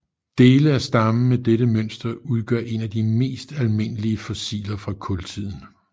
Dele af stammen med dette mønster udgør en af de mest almindelige fossiler fra kultiden